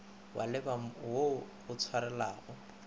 wa leba wo o tšwelelago